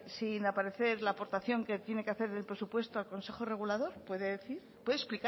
sin aparecer la aportación que tiene que hacer en el presupuesto al consejo regulador puede decir puede explicar